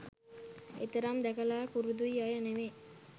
එතරම් දැකලා පුරුදු අය නෙවෙයි.